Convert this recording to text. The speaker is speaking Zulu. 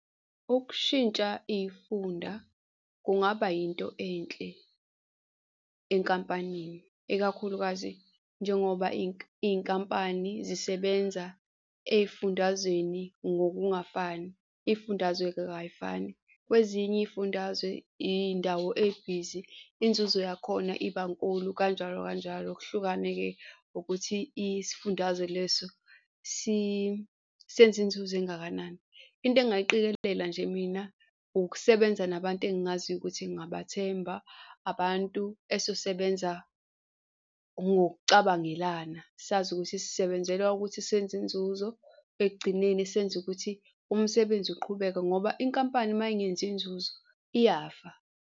Ukushintsha iy'funda kungaba yinto enhle enkampanini, ikakhulukazi njengoba iy'nkampani zisebenza ey'fundazweni ngokungafani. Iy'fundazwe-ke kayifani, kwezinye iy'fundazwe indawo ebhizi, inzuzo yakhona iba nkulu kanjalo kanjalo, kuhlukane-ke ukuthi, isifundazwe leso senza inzuzo engakanani. Into engingayiqikelela nje mina ukusebenza nabantu engaziyo ukuthi ngingabathemba, abantu esosebenza ngokucabangelana, sazi ukuthi sisebenzela ukuthi senze inzuzo. Ekugcineni senze ukuthi umsebenzi uqhubeke ngoba inkampani uma ingenzi inzuzo iyafa.